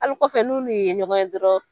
Hali kɔfɛ n'u n'u ye ɲɔgɔn ye dɔrɔn